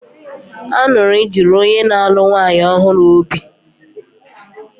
Aṅụrị juru onye na-alụ nwanyị ọhụrụ obi.